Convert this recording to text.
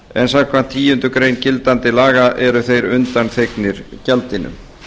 en samkvæmt tíundu greinar gildandi laga eru þeir undanþegnir gjaldinu